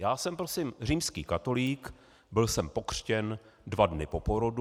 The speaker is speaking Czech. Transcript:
Já jsem prosím římský katolík, byl jsem pokřtěn dva dny po porodu.